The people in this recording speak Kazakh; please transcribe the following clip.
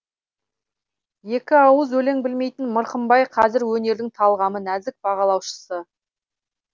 екіауыз өлең білмейтін мырқымбай қазір өнердің талғамы нәзік бағалаушысы